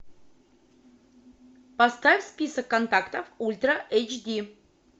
поставь список контактов ультра эйч ди